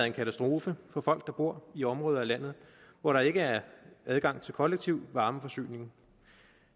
en katastrofe for folk der bor i områder af landet hvor der ikke er adgang til kollektiv varmeforsyning